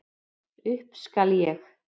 Upp skal ég.